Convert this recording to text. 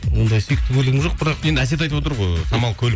ондай сүйікті көлігім жоқ бірақ енді әсет айтып отыр ғой самал көлік